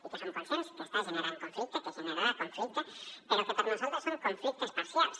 i som conscients que està generant conflicte que generarà conflicte però per nosaltres són conflictes parcials